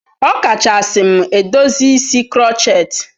Ọkachasị m edozi isi crotchet.